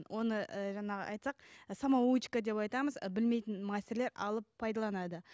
оны ы жаңағы айтсақ самоучка деп айтамыз ы білмейтін мастерлер алып пайдаланады